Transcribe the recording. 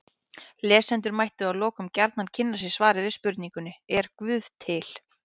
Lesendur mættu að lokum gjarnan kynna sér svarið við spurningunni Er guð til?